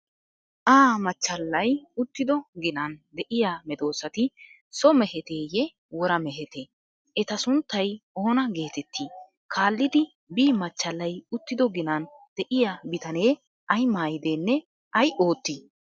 'a' machchallay uttido ginan de'iya medoosati so meheteyye, wora mehetee? Eta sunttay oona geeteettii? Kaallidi 'b' machchallay uttido ginan de'iya bitanee ay maayidennee, ay oottii?